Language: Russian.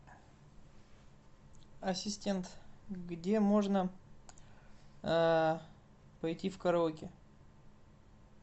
ассистент где можно пойти в караоке